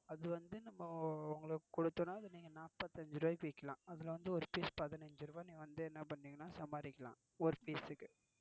அது வந்து உங்களுக்கு கொடுத்தேனா அத நீங்க நாற்பத்தியஞ்சு ரூபாய்க்கு விக்கலாம். அதுல வந்து ஒரு piece பதினைஞ்சு ரூபா. நீ வந்து என்னபன்னுவீங்கன்னா சம்பதிக்கலாம் ஒரு piece க்கு.